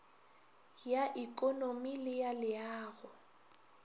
ya ikonomi le ya leago